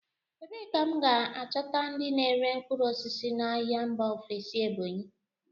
Ebee ka m ga-achọta ndị na-ere mkpụrụ osisi n'ahịa mba ofesi Ebonyi?